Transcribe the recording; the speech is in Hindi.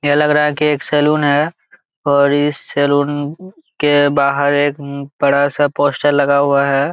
ये लग रहा है कि एक सैलून है और इस सैलून के बाहर एक बड़ा सा पोस्टर लगा हुआ हैं।